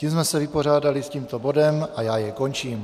Tím jsme se vypořádali s tímto bodem a já jej končím.